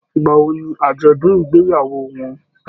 Ìgbà wò ní ajọdun ìgbéyàwó wọn?